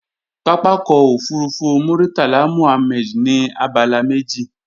Pápákọ̀ òfurufú Murtala Muhammed ní abala méjì